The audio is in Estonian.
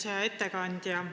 Hea ettekandja!